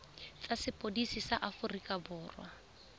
tsa sepodisi sa aforika borwa